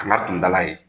Kana tun dala ye